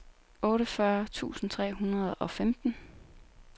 otteogfyrre tusind tre hundrede og femten